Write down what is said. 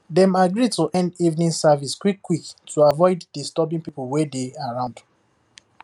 dem agree to end evening service quick quick to avoid disturbing people wey dey around